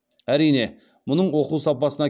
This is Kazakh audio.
әрине мұның оқу сапасына